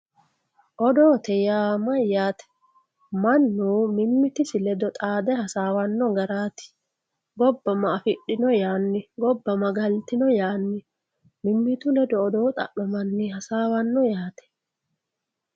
Odoote yaa mayate, manu mimitisi ledo xaade hasawanno garatti, gobba ma afidhino yaani, gobba ma galitino yaanni mimitu ledo odoo xa'mamanni hasawanno yaate.